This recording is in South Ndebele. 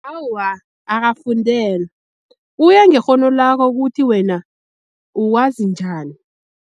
Awa, akafundelwa kuya ngekghono lakho kuthi wena uwazi njani.